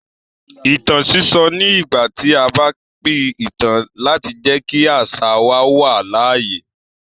Ìtàn sísọ ni ìgbà tí a bá pín ìtàn láti jẹ́ kí àṣà wa wà láàyè.